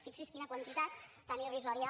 fixi’s quina quantitat tan irrisòria